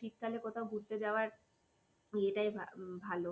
শীতকালে কোথাও ঘুরতে যাওয়ার ইয়েটাই ভালো,